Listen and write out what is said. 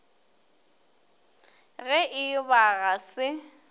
ge e ba ga se